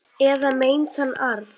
Eða meintan arf.